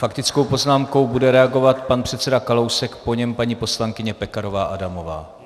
Faktickou poznámkou bude reagovat pan předseda Kalousek, po něm paní poslankyně Pekarová Adamová.